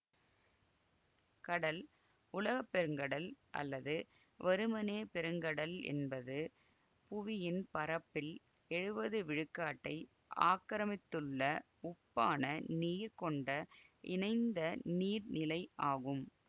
கடல் உலக பெருங்கடல் அல்லது வெறுமனே பெருங்கடல் என்பது புவியின் பரப்பில் எழுவது விழுக்காட்டை ஆக்கிரமித்துள்ள உப்பான நீர் கொண்ட இணைந்த நீர்நிலை ஆகும்